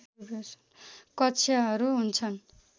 कक्षाहरू हुन्छन्